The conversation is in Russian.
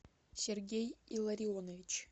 сергей илларионович